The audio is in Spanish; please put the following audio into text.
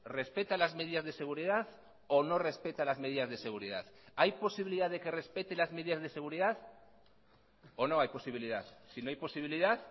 respeta las medidas de seguridad o no respeta las medidas de seguridad hay posibilidad de que respete las medidas de seguridad o no hay posibilidad si no hay posibilidad